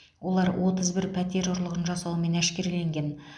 олар отыз бір пәтер ұрлығын жасаумен әшкереленген